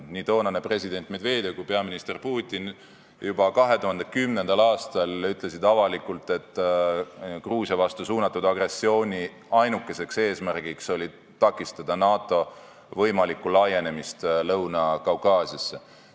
Nii toonane president Medvedev kui ka peaminister Putin ütlesid juba 2010. aastal avalikult, et Gruusia vastu suunatud agressiooni ainuke eesmärk oli takistada NATO võimalikku laienemist Lõuna-Kaukaasiasse.